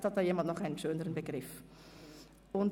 Vielleich findet jemand einen schöneren Begriff dafür.